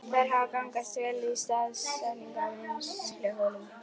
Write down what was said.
Þær hafa gagnast vel við staðsetningu á vinnsluholum.